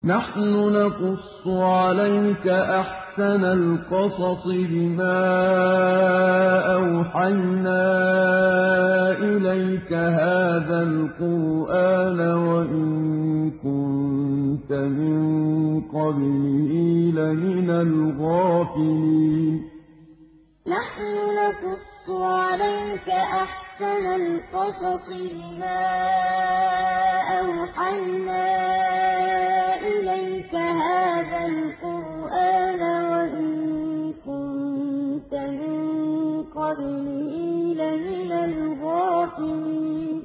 نَحْنُ نَقُصُّ عَلَيْكَ أَحْسَنَ الْقَصَصِ بِمَا أَوْحَيْنَا إِلَيْكَ هَٰذَا الْقُرْآنَ وَإِن كُنتَ مِن قَبْلِهِ لَمِنَ الْغَافِلِينَ نَحْنُ نَقُصُّ عَلَيْكَ أَحْسَنَ الْقَصَصِ بِمَا أَوْحَيْنَا إِلَيْكَ هَٰذَا الْقُرْآنَ وَإِن كُنتَ مِن قَبْلِهِ لَمِنَ الْغَافِلِينَ